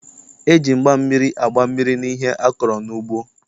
E ji mgba mmiri agba mmiri n'ihe a kọrọ n'ugbo.